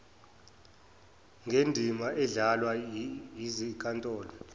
ngendima edlalwa yizinkantolo